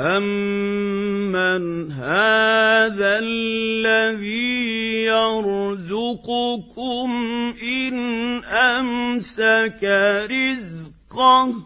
أَمَّنْ هَٰذَا الَّذِي يَرْزُقُكُمْ إِنْ أَمْسَكَ رِزْقَهُ ۚ